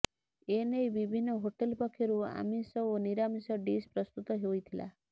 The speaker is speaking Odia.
ଏନେଇ ବିଭିନ୍ନ ହୋଟେଲ୍ ପକ୍ଷରୁ ଆମିଷ ଓ ନିରାମିଷ ଡିସ୍ ପ୍ରସ୍ତୁତ ହୋଇଥିଲା